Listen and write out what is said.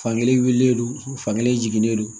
Fankelen wililen don fan kelen jiginnen don